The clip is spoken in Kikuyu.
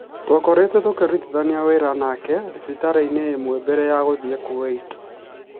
Twakoretwo tũkĩrutithania wĩra nake thibitarĩ-inĩ ĩmwe mbere ya gũthiĩ Kuwait.